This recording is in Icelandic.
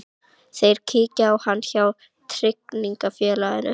Þeir kíkja á hann hjá tryggingarfélaginu.